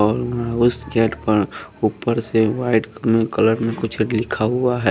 और उं उस गेट पर ऊपर से व्हाइट उं कलर में कुछ लिखा हुआ है।